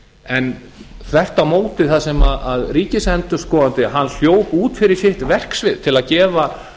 en þvert á móti þar sem ríkisendurskoðandi hljóp út fyrir sitt verksvið til að gefa